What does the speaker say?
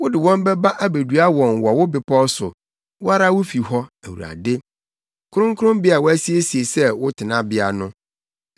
Wode wɔn bɛba abedua wɔn wɔ wo bepɔw so, wo ara wo fi hɔ, Awurade— Kronkronbea a woasiesie sɛ wo tenabea no.